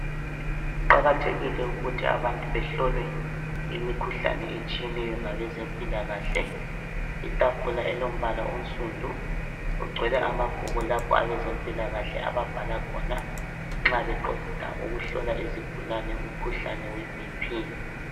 Kuqakathekile ukuthi abantu behlolwe imikhuhlane etshiyeneyo ngabezempilakahle. Itafula elombala onsundu ogcwele amabhuku lapha abezempilakahle ababhala khona nxa beqeda ukuhlola izigulane umkhuhlane we"BP'.